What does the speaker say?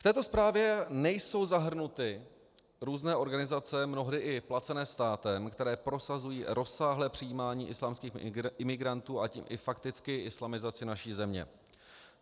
V této zprávě nejsou zahrnuty různé organizace, mnohdy i placené státem, které prosazují rozsáhlé přijímání islámských imigrantů, a tím i fakticky islamizaci naší země.